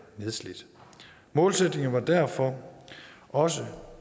nedslidt målsætningen var derfor også